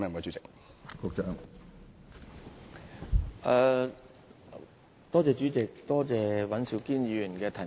主席，多謝尹兆堅議員提問。